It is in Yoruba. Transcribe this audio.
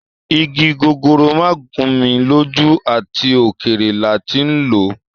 Igi gogoro ma gun mi loju, at okere la ti n lo